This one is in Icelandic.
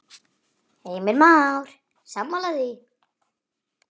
Heimir Már: Sammála því?